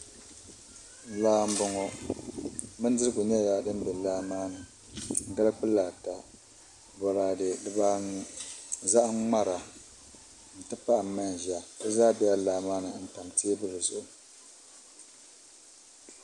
Laa n boŋo bindirigu nyɛla din bɛ laa maa ni gali kpulaa ata boraadɛ dibaanu zaham ŋmara n ti pahi manʒa di zaa bɛla laa maa ni n tam teebuli zuɣu